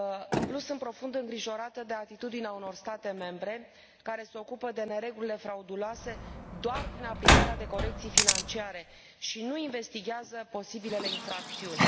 În plus, sunt profund îngrijorată de atitudinea unor state membre, care se ocupă de neregulile frauduloase doar prin aplicarea unor corecții financiare și nu investighează posibilele infracțiuni.